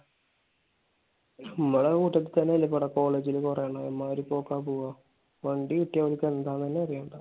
നമ്മടെ കൂട്ടത്തിൽ തന്നെ ഇല്ലേ college ൽ കൊറേയെണ്ണം. അമ്മാതിരി പോക്കാണ് പോവാ. വണ്ടി കിട്ടിയാൽ അവർക്ക് എന്താണെന്ന് തന്നെ അറിയണ്ട.